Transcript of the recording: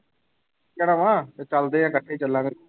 ਜਾਣਾ ਵਾਂ ਤੇ ਚੱਲਦੇ ਹਾਂ ਇਕੱਠੇ ਹੀ ਚੱਲਾਂਗੇ।